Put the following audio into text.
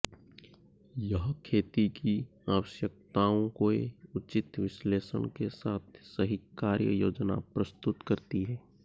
यह खेती की आवश्यकताओं के उचित विश्लेषण के साथ सही कार्य योजना प्रस्तुत करती है